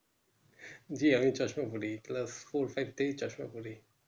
জি আমি চশমা পরি Class four five থেকে আমি চশমা পড়ি